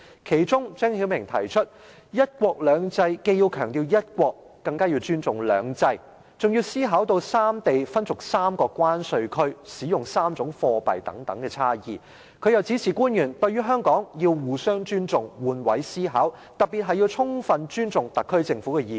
其中，張曉明指出，"一國兩制"既要強調"一國"，更加要尊重"兩制"，還要考慮到三地分屬3個關稅區、使用3種貨幣等差異；他又指示官員，對於香港要互相尊重，換位思考，特別是要充分尊重特區政府的意見。